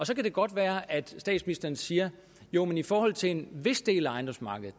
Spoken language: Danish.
så kan det godt være at statsministeren siger jo men i forhold til en vis del af ejendomsmarkedet